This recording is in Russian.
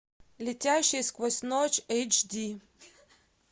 летящие сквозь ночь эйч ди